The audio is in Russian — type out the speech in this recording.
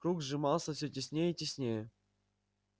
круг сжимался всё теснее и теснее